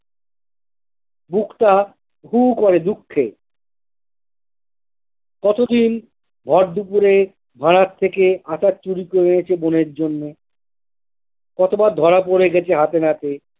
বুকটা হুহু করে দুঃখে কতদিন ভরদুপুরে ভাঁড়ার থেকে আটা চুরি করে এনেছে বনের জন্য কতবার ধরা পড়ে গেছে হাতে নাতে।